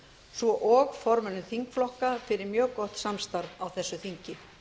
svo og formönnum þingflokka fyrir mjög gott samstarf á þessu þingi